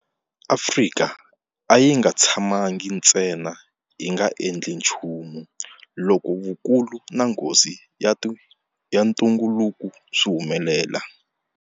Afrika a yi nga tshamangi ntsena yi nga endli nchumu loko vukulu na nghozi ya ntungukulu swi humelela.